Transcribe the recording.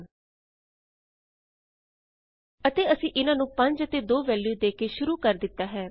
000132 000131 ਅਤੇ ਅਸੀਂ ਇਹਨਾਂ ਨੂੰ 5 ਅਤੇ 2 ਵੈਲਯੂ ਦੇ ਕੇ ਸ਼ੁਰੂ ਕਰ ਦਿਤਾ ਹੈ